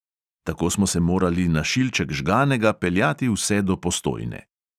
Tako smo se morali na šilček žganega peljati vse do postojne.